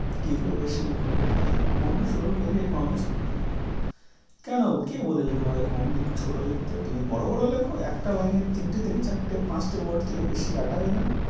কী করে বেশি লিখ? পনেরো ষোল page এখন অনেক, কেন কে বলেছে তোমাকে কম লিখতে? ~ছোট লিখতে? তুমি বড় বড় লেখো। একটা line এ তিনটে থেকে চারটে পাঁচটে word থেকে বেশি আটাবে না।